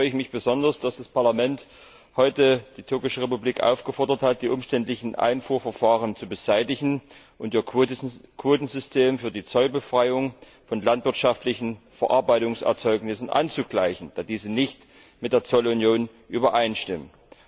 Deshalb freue ich mich besonders, dass das Parlament heute die Türkische Republik aufgefordert hat, die umständlichen Einfuhrverfahren zu beseitigen und ihr Quotensystem für die Zollbefreiung von landwirtschaftlichen Verarbeitungserzeugnissen anzugleichen, da diese nicht mit der Zollunion übereinstimmen.